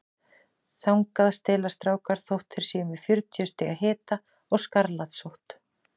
Þangað stelast strákar þótt þeir séu með fjörutíu stiga hita og skarlatssótt.